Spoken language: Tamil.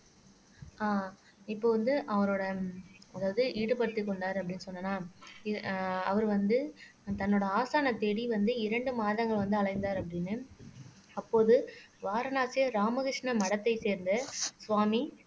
அஹ் இப்போ வந்து அவரோட அதாவது ஈடுபடுத்திக் கொண்டார் அப்படின்னு சொன்னன்னா அவர் வந்து தன்னோட ஆசானைத் தேடி வந்து இரண்டு மாதங்கள் வந்து அலைந்தார் அப்படின்னு அப்போது வாரணாசியார் ராமகிருஷ்ண மடத்தைச் சேர்ந்த சுவாமி